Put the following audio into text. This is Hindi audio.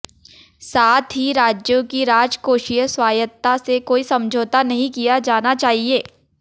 साथ ही राज्यों की राजकोषीय स्वायत्तता से कोई समझौता नहीं किया जाना चाहिए